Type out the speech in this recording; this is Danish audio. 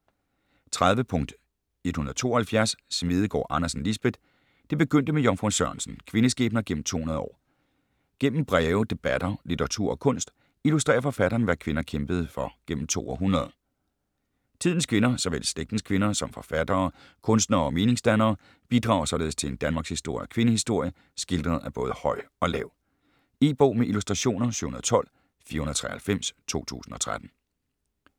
30.172 Smedegaard Andersen, Lisbeth: Det begyndte med Jomfru Sørensen: kvindeskæbner gennem 200 år Gennem breve, debatter, litteratur og kunst, illustrerer forfatteren hvad kvinder kæmpede for gennem to århundreder. Tidens kvinder, såvel slægtens kvinder som forfattere, kunstnere og meningsdannere, bidrager således til en danmarkshistorie og kvindehistorie skildret af både høj og lav. E-bog med illustrationer 712493 2013.